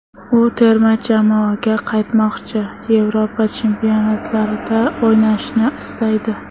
U terma jamoaga qaytmoqchi, Yevropa chempionatlarida o‘ynashni istaydi.